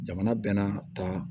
Jamana bɛnna ta